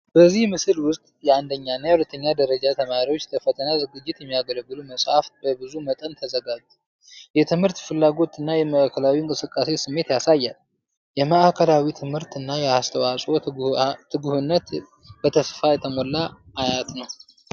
በዚህ ምስል ውስጥ የአንደኛ እና የሁለተኛ ደረጃ ተማሪዎች ለፈተና ዝግጅት የሚያገለግሉ መጻሕፍት በብዙ መጠን ተዘጋጁ። የትምህርት ፍላጎት እና የማዕከላዊ እንቅስቃሴ ስሜት ያሳያል። የማዕከላዊ ትምህርት እና የአስተዋፅኦ ትጉህነት በተስፋ የተሞላ አየት ነው።